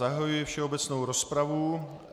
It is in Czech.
Zahajuji všeobecnou rozpravu.